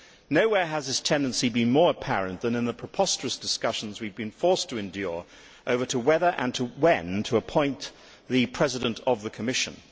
Nowhere has this tendency been more apparent than in the preposterous discussions we have been forced to endure over whether and when to appoint the President of the Commission.